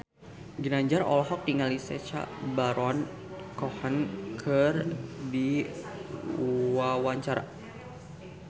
Ginanjar olohok ningali Sacha Baron Cohen keur diwawancara